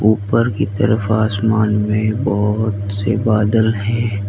ऊपर की तरफ आसमान में बहोत से बदला है।